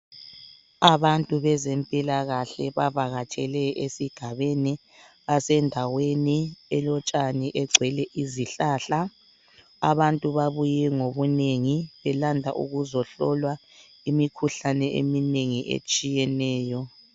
Abantu bezempilakahle bavakatshele esigabeni , basendaweni elotshani egcwele izihlahla. Abantu babuye ngobunengi belanda ukuzohlolwa imikhuhlane eminengi etshiyeneyo.